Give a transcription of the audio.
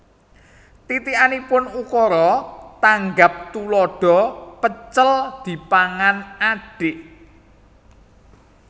Titikanipun Ukara tanggap tuladha pecel dipangan adhik